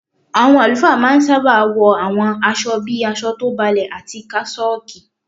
Àwọn àlùfáà ma ń sábà wọ àwọn aṣọ bíi aṣọ tó balẹ̀ àti kásọ́ọ̀kì.